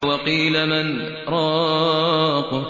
وَقِيلَ مَنْ ۜ رَاقٍ